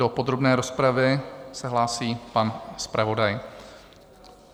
Do podrobné rozpravy se hlásí pan zpravodaj.